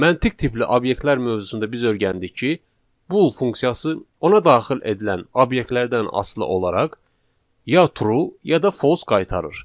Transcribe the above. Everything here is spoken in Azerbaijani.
Məntiq tipli obyektlər mövzusunda biz öyrəndik ki, bull funksiyası ona daxil edilən obyektlərdən asılı olaraq ya true ya da false qaytarır.